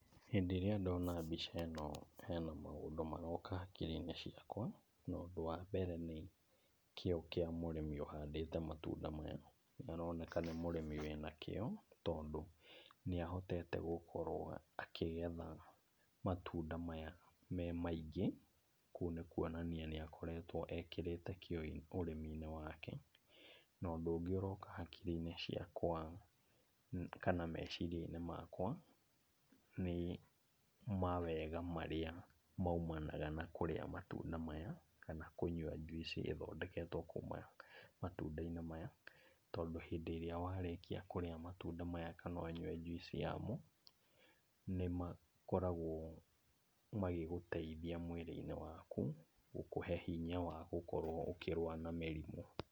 Hĩndĩ ĩrĩa ndona mbica ĩno hena maũndũ maroka hakiri-inĩ ciakwa, na ũndũ wa mbere, nĩ kĩo kĩa mũrĩmi ũhandĩte matunda maya. Nĩaroneka nĩ mũrĩmi wĩna kĩo, tondũ nĩahotete gũkorwo akĩgetha matunda maya me maingĩ, kũu nĩ kuonania nĩakoretwo ekĩrĩte kĩo ũrĩmi-inĩ wake. Na ũndũ ũngĩ ũroka hakiri-inĩ ciakwa kana meciria-inĩ makwa nĩ mawega marĩa maumanaga na kũrĩa matunda maya kana kũnyua juice i ĩthondeketwo kuma matunda-inĩ maya, tondũ hĩndĩ ĩrĩa warĩkia kũrĩa matunda maya kana ũnyue juice yamo, nĩmakoragwo magĩgũteithia mwĩrĩ-inĩ waku gũkũhe hinya wa gũkorwo ũkĩrũa na mĩrimũ.